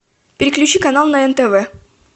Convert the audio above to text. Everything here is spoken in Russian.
переключи канал на нтв